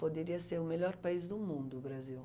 Poderia ser o melhor país do mundo, o Brasil.